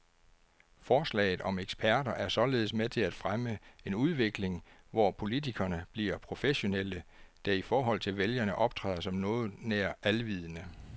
Forslaget om eksperter er således med til at fremme en udvikling, hvor politikerne bliver professionelle, der i forhold til vælgerne optræder som noget nær alvidende.